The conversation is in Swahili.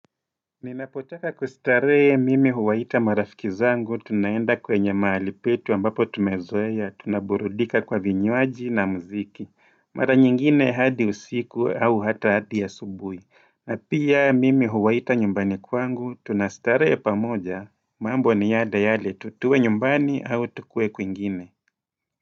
Ninapotaka kustarehe mimi huwaita marafiki zangu, tunaenda kwenye mahali petu ambapo tumezoea, tunaburudika kwa vinywaji na muziki, mara nyingine hadi usiku au hata hadi asubuhi, na pia mimi huwaita nyumbani kwangu, tunastarehe pamoja, mambo ni yale yale, tu tuwe nyumbani au tukuwe kwingine.